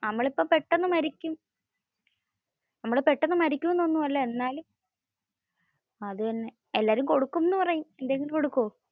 നമ്മൾ ഇപ്പോ പെട്ടന്ന് മരിക്കും എന്ന് ഒന്നും അല്ല. എന്നാലും. അത് തന്നെ. എല്ലാരു കൊടുക്കും എന്ന് പറയും ഇല്ലെങ്കിൽ കൊടുക്കുവോ.